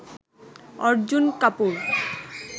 Arjun Kapoor